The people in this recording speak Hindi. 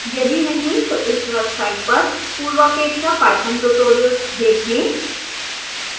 यदि नहीं तो इस वेबसाइट पर पूर्वापेक्षा पाइथन ट्यूटोरियल्स देखें